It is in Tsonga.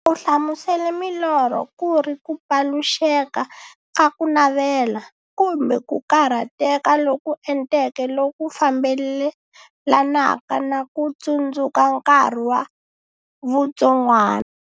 U hlamusele milorho kuri ku paluxeka ka kunavela, kumbe ku karhateka loku enteke loku fambelanaka na ku tsundzuka nkarhi wa vutsongwana.